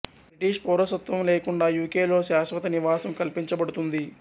British పౌరసత్వం లేకుండా U K లో శాశ్వత నివాసం కల్పించించ ప్బడుతుంది